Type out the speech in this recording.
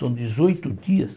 São dezoito dias.